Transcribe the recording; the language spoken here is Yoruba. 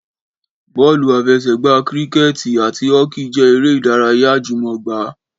Bọ́ọ́lù àfesẹ̀gbá, kíríkẹ̀tì àti họ́kì jẹ́ eré ìdárayá àjùmọ̀gbá